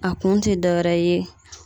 A kun te dɔ wɛrɛ ye